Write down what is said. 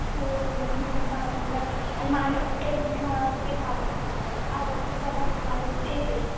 हो मिसळ मला पण जास्त लई आवडते. म्हणजे आवडतं पदार्थ माझं तेच ये.